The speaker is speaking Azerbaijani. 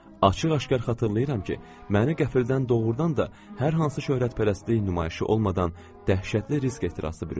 Açıq-aşkar xatırlayıram ki, məni qəfildən doğurdan da hər hansı şöhrətpərəstlik nümayişi olmadan dəhşətli risk ehtirası bürüdü.